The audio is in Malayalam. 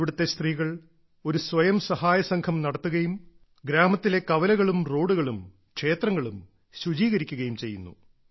ഇവിടുത്തെ സ്ത്രീകൾ ഒരു സ്വയം സഹായ സംഘം നടത്തുകയും ഗ്രാമത്തിലെ കവലകളും റോഡുകളും ക്ഷേത്രങ്ങളും ശുചീകരിക്കുകയും ചെയ്യുന്നു